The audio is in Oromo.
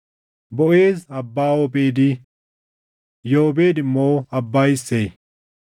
Boʼeez abbaa Oobeedi; Yoobeed immoo abbaa Isseey.